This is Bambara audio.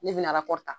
Ne bɛna